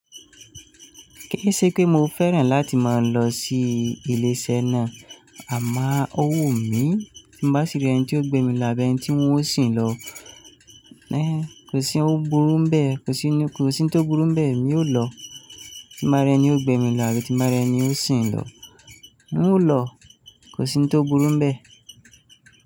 Kí ì ṣe pé mo fẹ́ràn láti máa lọ sí ilé-iṣẹ́ náà, àmá o wù mí tí n bá sì rí ẹni tí ó gbé mi lọ àbí ẹni tí ń ó sì ń lọ. Kò sí oun burú n bẹ́ẹ̀, kò sí ni kò sí n tó burú n bẹ́ẹ̀, mi ò lọ. Tí n bá rẹ ni ó gbé mi lọ àbí, tí n bá rẹ ni ó sì ń lọ. N ò lọ, kò sí n tó burú n bẹ́ẹ̀.